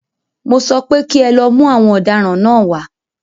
Mọ sọ pé kí ẹ lọ mú àwọn ọ̀daràn náà wá.